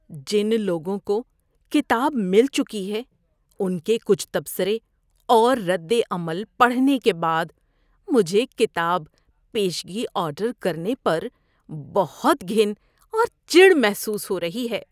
جن لوگوں کو کتاب مل چکی ہے ان کے کچھ تبصرے اور ردعمل پڑھنے کے بعد مجھے کتاب پیشگی آرڈر کرنے پر بہت گھن اور چڑ محسوس ہو رہی ہے۔